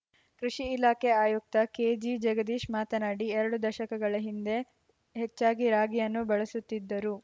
ಕೃಷಿ ಇಲಾಖೆ ಆಯುಕ್ತ ಕೆಜಿಜಗದೀಶ್‌ ಮಾತನಾಡಿ ಎರಡು ದಶಕಗಳ ಹಿಂದೆ ಹೆಚ್ಚಾಗಿ ರಾಗಿಯನ್ನು ಬಳಸುತ್ತಿದ್ದರು